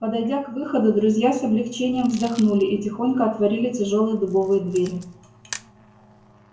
подойдя к выходу друзья с облегчением вздохнули и тихонько отворили тяжёлые дубовые двери